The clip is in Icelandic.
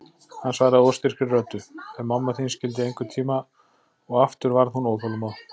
Hann svaraði óstyrkri röddu: Ef mamma þín skyldi einhvern tíma, og aftur varð hún óþolinmóð.